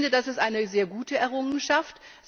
Ich finde, das ist eine sehr gute Errungenschaft.